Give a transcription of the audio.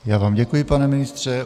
Já vám děkuji, pane ministře.